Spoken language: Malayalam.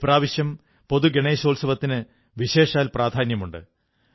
ഇപ്രാവശ്യം പൊതു ഗണേശോത്സവത്തിന് വിശേഷാൽ പ്രാധാന്യമുണ്ട്